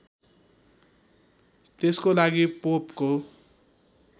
त्यसको लागि पोपको